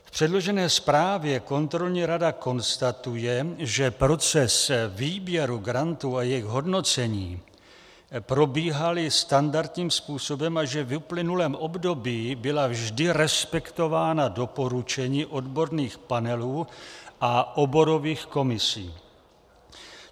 V předložené zprávě kontrolní rada konstatuje, že proces výběru grantů a jejich hodnocení probíhaly standardním způsobem a že v uplynulém období byla vždy respektována doporučení odborných panelů a oborových komisí.